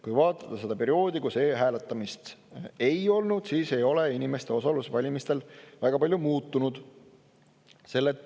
Kui vaadata seda perioodi, kus e-hääletamist ei olnud, siis on näha, et inimeste osalusaktiivsus ei väga palju muutunud.